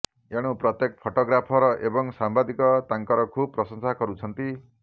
ଏଣୁ ପ୍ରତ୍ୟେକ ଫଟୋଗ୍ରାଫର ଏବଂ ସାମ୍ବାଦିକ ତାଙ୍କର ଖୁବ୍ ପ୍ରଶଂସା କରୁଛନ୍ତି